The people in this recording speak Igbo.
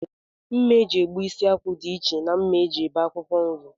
Mma e ji egbu isi akwụ dịiche na mma e ji ebie akwụkwọ nri